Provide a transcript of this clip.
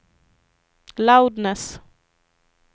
loudness